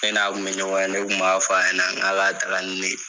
Ne n'a kun me ɲɔgɔn ye, ne kun b'a fɔ a ɲɛna , n ka taga ni ne ye.